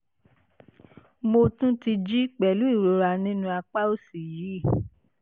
mo tún ti ń jí pẹ̀lú ìrora nínú àpá òsì yìí